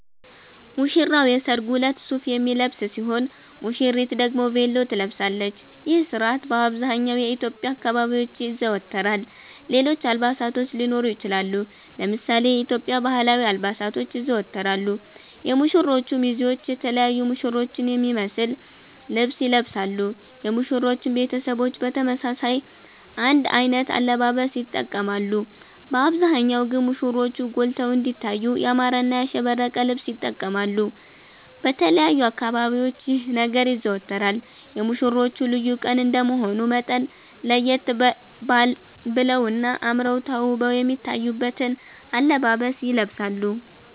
ሙሽራዉ የሰርጉ እለት ሱፍ የሚለብስ ሲሆን ሙሽሪት ደግሞ ቬሎ ትለብሳለች ይህ ስርአት በአብዘሃኛዉ የኢትዮዽያ አካባቢዎች ይዘወተራል ሌሎች አልባሳቶች ሊኖሩ ይችላሉ። ለምሳሌ የኢትዮዽያ ባህላዊ አልባሳቶች ይዘወተራሉ የሙሽሮቹ ሚዜዎች የተለያዩ ሙሽሮቹን የሚመሰል ልብስ ይለብሳሉ የሙሽሮቹም ቤተሰቦች በተመሳሳይ አንድ አይነት አለባበስ ይተቀማሉ በአብዛሃኛዉ ግን ሙሽሮቹ ጎልተዉ እንዲታዩ ያማረና ያሸበረቀ ልብስ ይተቀማሉ። በተለያዩ አካባቢዎች ይህ ነገር ይዘወተራል የሙሽሮቹ ልዩ ቀን እንደመሆኑ መጠን ለየት በለዉና አመረዉ ተዉበዉ የሚታዩበትን አለባበስ ይለብሳሉ